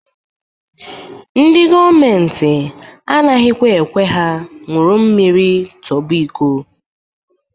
Ndị gọọmenti anaghịkwa ekwe ha nwuru mmiri tọba iko.